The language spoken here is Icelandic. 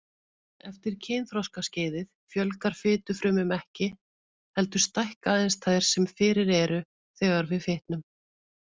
Eftir kynþroskaskeiðið fjölgar fitufrumum ekki, heldur stækka aðeins þær sem fyrir eru þegar við fitnum.